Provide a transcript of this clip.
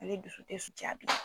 Ali dusu tɛ su jaa bi